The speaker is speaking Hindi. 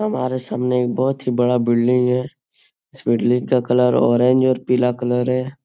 हमारे सामने एक बहुत ही बड़ा बिल्डिंग है। इस बिल्डिंग का कलर ऑरेंज और पीला कलर है।